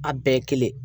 A bɛɛ ye kelen